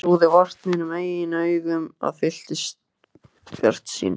Ég trúði vart mínum eigin augum og fylltist bjartsýni.